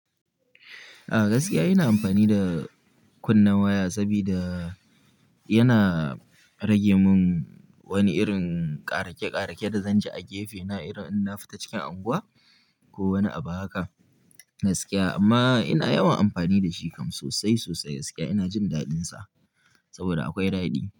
A gaskiya ina amfani da kunna waya saboda yana rage man wani irin ƙaraƙe-ƙaraƙe da zan ji a gefe na irin in na fita cikin unguwa ko wani abu haka gaskiya. Amma ina yawan amfani da shi kam sosai sosai gaskiya ina jin daɗinsa saboda akwai daɗi.